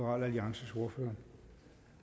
at vil